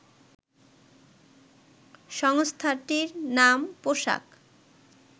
সংস্থাটির নাম, পোশাক